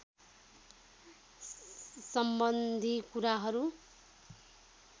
सम्बन्धी कुराहरू